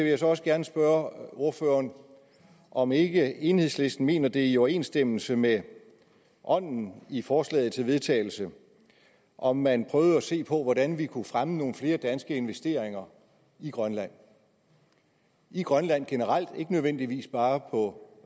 jeg så også gerne spørge ordføreren om ikke enhedslisten mener det er i overensstemmelse med ånden i forslaget til vedtagelse om man prøvede at se på hvordan vi kunne fremme nogle flere danske investeringer i grønland i grønland generelt ikke nødvendigvis bare på